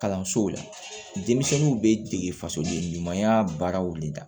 Kalansow la denmisɛnninw bɛ dege fasoden ɲumanya baaraw de la